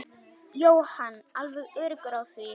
Jóhann: Alveg öruggur á því?